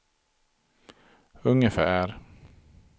ungefär